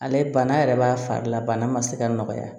Ale bana yɛrɛ b'a fari la bana ma se ka nɔgɔya